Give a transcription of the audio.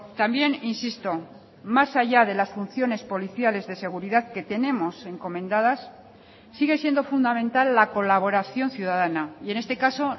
también insisto más allá de las funciones policiales de seguridad que tenemos encomendadas sigue siendo fundamental la colaboración ciudadana y en este caso